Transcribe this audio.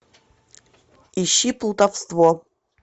ищи плутовство